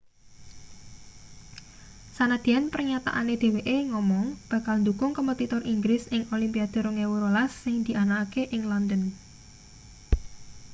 sanadyan pernyataane dheweke ngomong bakal ndukung kompetitor inggris ing olimpiade 2012 sing dianakake ing london